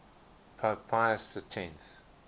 pope pius x